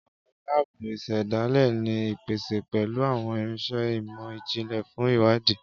Àwọn lábùù isedale ni ipese pẹlu awọn irinṣẹ imọ-jinlẹ fun iwadi